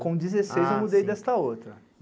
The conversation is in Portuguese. Com dezesseis eu mudei desta outra.